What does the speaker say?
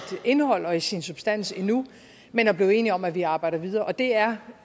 indhold og i sin substans endnu men at blive enige om at vi arbejder videre og det er